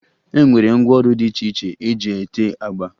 E nwere ngwaọrụ dị iche iche eji ete agba